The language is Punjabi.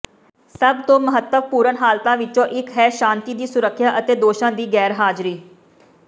ਸਭ ਤੋਂ ਮਹੱਤਵਪੂਰਣ ਹਾਲਤਾਂ ਵਿਚੋਂ ਇਕ ਹੈ ਸ਼ਾਂਤੀ ਦੀ ਸੁਰੱਖਿਆ ਅਤੇ ਦੋਸ਼ਾਂ ਦੀ ਗੈਰਹਾਜ਼ਰੀ